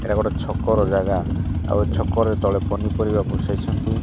ଏଟା ଗୋଟେ ଛକର ଜାଗା ଆଉ ଏ ଛକରେ ତଳେ ପନିପରିବା ବସେଇଛନ୍ତି।